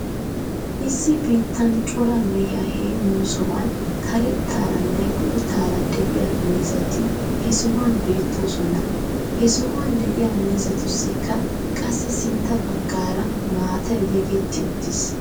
Issi bitanee cora mehiyaa heemmiyoo sohuwan karettaaranne boottara de'iyaa miizzati he sohuwan beettoosona. He suhuwan de'iyaa miizzatussikka qassi sintta bagaara maatay yegettiuttis.